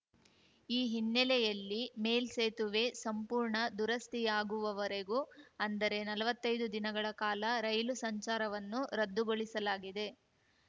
ಈ ಹಿನ್ನೆಲೆಯಲ್ಲಿ ಮೇಲ್ಸೇತುವೆ ಸಂಪೂರ್ಣ ದುರಸ್ತಿಯಾಗುವವರೆಗೂ ಅಂದರೆ ನಲ್ವತ್ತೈದು ದಿನಗಳ ಕಾಲ ರೈಲು ಸಂಚಾರವನ್ನು ರದ್ದುಗೊಳಿಸಲಾಗಿದೆ